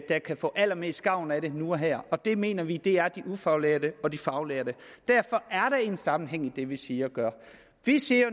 der kan få allermest gavn af det nu og her og det mener vi er de ufaglærte og de faglærte derfor er der en sammenhæng i det vi siger og gør vi siger